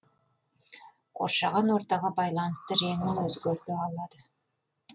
қоршаған ортаға байланысты реңін өзгерте алады